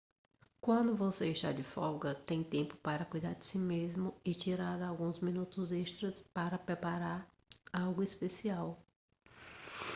quando você está de folga tem tempo para cuidar de si mesmo e tirar alguns minutos extras para preparar algo especial